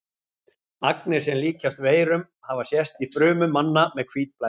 Agnir sem líkjast veirum hafa sést í frumum manna með hvítblæði.